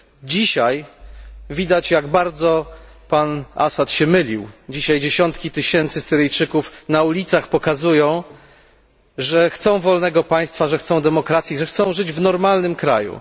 Dzisiaj widać jak bardzo pan Assad się mylił, dzisiaj dziesiątki tysięcy Syryjczyków na ulicach pokazują, że chcą wolnego państwa, że chcą demokracji, że chcą żyć w normalnym kraju.